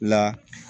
La